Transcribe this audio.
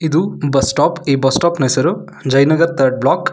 ಇದು bus stop ಈ bus stop ನ ಹೆಸರು ಜಯನಗರ್ ಥರ್ಡ್ ಬ್ಲಾಕ್ .